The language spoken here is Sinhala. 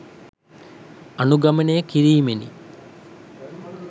අනුගමනය කිරීමෙනි.